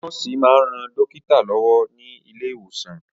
Nọ́ọ̀sì máa ń ran dókítà lọ́wọ́ ní ilé ìwòsàn.